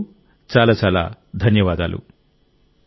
అప్పటి వరకు చాలా చాలా ధన్యవాదాలు